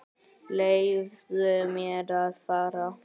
Leyfðu mér að fara.